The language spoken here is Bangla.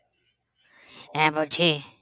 হ্যাঁ বলছি